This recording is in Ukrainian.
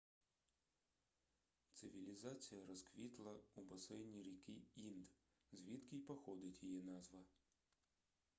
цивілізація розквітла у басейні ріки інд звідки й походить її назва